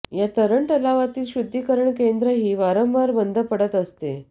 या तरण तलावातील शुद्धीकरण केंद्रही वारंवार बंद पडत असते